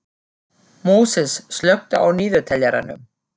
Móses, slökktu á niðurteljaranum.